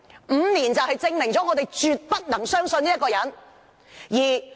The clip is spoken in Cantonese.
五年時間證明了，大家絕不能相信這個人。